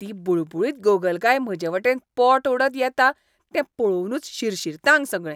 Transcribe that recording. ती बुळबुळीत गोगलगाय म्हजेवटेन पोट ओडत येता तें पळोवनच शिरशिरता आंग सगळें.